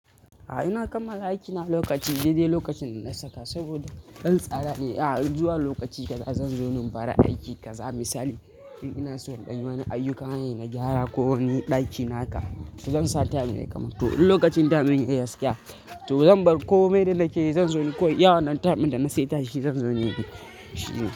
A'a ina kanmala aiki na lokaci dai dai lokacin da na saka saboda dan tsara ne. A'a zuwa lokaci kaza zan zo ni in fara aiki kaza misali. In ina so danyi wani ayyuka na gyara ko wani ɗaki na haka to zan sa time ne ya kamanto. In lokacin time ya yi gaskiya to zan bar ko mai da nakeyi zan zo ni ko iya wannan time da na saita shi zan zo ni.